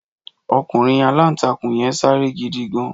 Ọkùnrin aláǹtakùn yẹn sáré gidi gan.